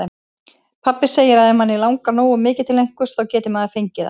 Pabbi segir að ef mann langi nógu mikið til einhvers, þá geti maður fengið það.